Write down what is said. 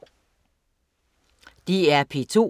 DR P2